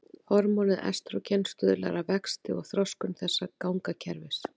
Hormónið estrógen stuðlar að vexti og þroskun þessa gangakerfis.